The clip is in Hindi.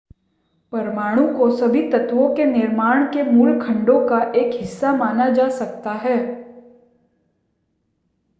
परमाणु को सभी तत्वों के निर्माण के मूल खंडों का एक हिस्सा माना जा सकता है